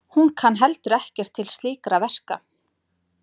Hún kann heldur ekkert til slíkra verka.